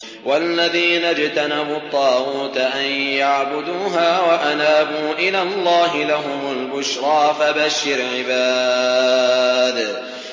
وَالَّذِينَ اجْتَنَبُوا الطَّاغُوتَ أَن يَعْبُدُوهَا وَأَنَابُوا إِلَى اللَّهِ لَهُمُ الْبُشْرَىٰ ۚ فَبَشِّرْ عِبَادِ